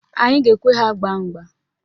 Anyị ga-ekwe ha gbaa mgba.